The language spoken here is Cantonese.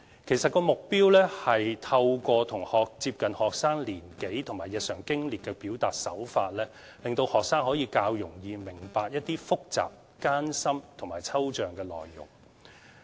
其實，目標是透過接近學生年紀和日常經歷的表達手法，令學生可以較容易明白一些複雜、艱深和抽象的內容。